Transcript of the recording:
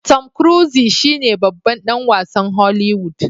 Tom cruiese shine babban dan wasn holiwood